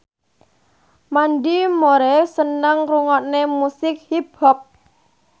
Mandy Moore seneng ngrungokne musik hip hop